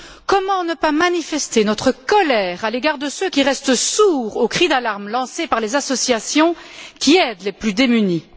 Comment ne pas manifester notre colère à l'égard de ceux qui restent sourds aux cris d'alarme lancés par les associations qui aident les plus démunis.